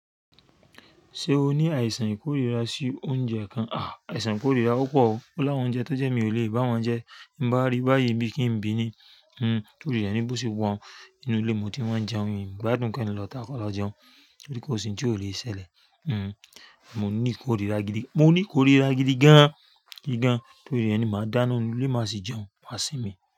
Ṣé o ní àìsàn ìkórira sí oúnjẹ kan? A, aìsàn ìkórira o pọ o. Olá wọn oúnjẹ tó jẹ́ mi ò lè bá wọn jẹ. Bí n bá rí báyìí bí kí n bí ní, hmm, torí rẹ̀ ni bó ṣe wa u n inú ilé mo ti wọ́n jẹun, miì gbádùn ki n lọ ta kọ lọ jẹun torí ko si ohun tí ó lè ṣẹlẹ̀. Mo ní ìkórira gidi gan, gidi gan, torí rẹ ni máa dáná nú ilé máa sì jẹun, máa sì mí.